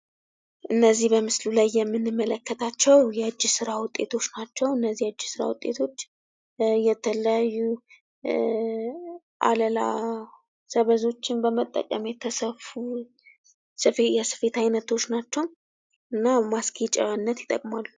እነዚህ በምስሉ ላይ የምንመለከታቸው የእጅ ስራ ውጤቶች ናቸው። እነዚህ የእጅ ስራ ውጤቶች የተለያዩ እ አለላ ሰበዞችን በመጠቀም የተሰፋ የስፌት አይነቶች ናቸው። እና ማስጌጫነት ይጠቅማሉ።